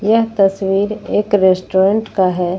यह तस्वीर एक रेस्टोरेंट का है।